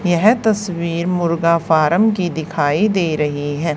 यह तस्वीर मुर्गा फारम की दिखाई दे रही है।